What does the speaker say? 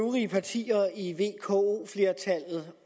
øvrige partier i vko flertallet